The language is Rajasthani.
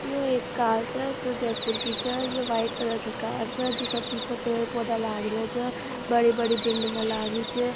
यो एक कार छह जो जयपुर की छ ये व्हाइट कलर की कार छ जीका पीछे पेड़ पौधा लग रहे छ बड़ी बड़ी बिल्डिंग लाग रही छ।